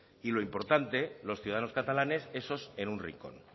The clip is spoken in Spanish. y lo importante los ciudadanos catalanes esos en un rincón